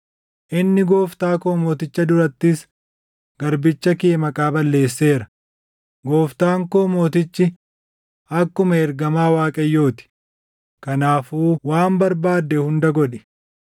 Inni gooftaa koo mooticha durattis garbicha kee maqaa balleesseera; gooftaan koo mootichi akkuma ergamaa Waaqayyoo ti; kanaafuu waan barbaadde hunda godhi.